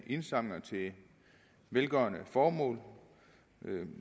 indsamlinger til velgørende formål